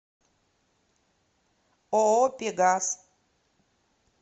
ооо пегас